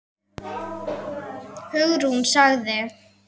Hugrún sagði